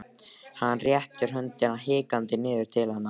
Hann réttir höndina hikandi niður til hennar.